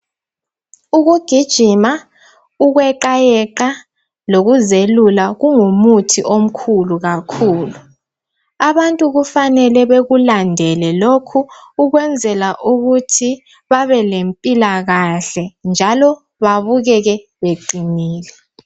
Ukugijima, ukweqayeqa lokuzelula kungumuthi omkhulu kakhulu. Abantu kufanele bekulandele lokhu ukwenzela ukuthi babe lempilakahle njalo babukeke beqinile.